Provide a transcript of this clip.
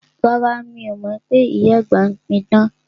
Rárá, mi o mọ pé ìyá àgbà ń pí idán